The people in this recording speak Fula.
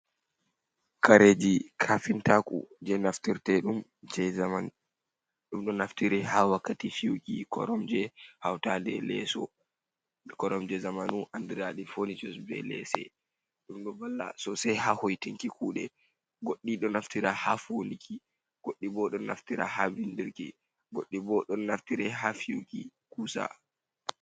kareji kafintaku je naftirte ɗum je zamanu. Ɗum ɗo naftiri ha wakkati fiyuki kormje, hautaɗe leso. Koromje zamanu anɗiraɗi ponitus, be lese. Ɗum ɗo valla sosei ha hoitinki kuɗe. Goɗɗi ɗo naftira ha foliki, goɗɗi bo don naftira ha bindirki, goɗɗi bo ɗon naftiri ha fiyuki kusa.